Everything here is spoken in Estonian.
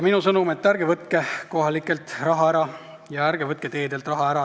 Minu sõnum on: ärge võtke kohalikelt omavalitsustelt raha ära ja ärge võtke teedelt raha ära!